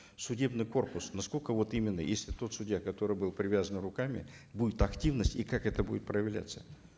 судебный корпус на сколько вот именно если тот судья который был привязан руками будет активность и как это будет проявляться